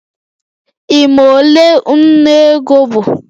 Ị ma ole ńnú ego bụ?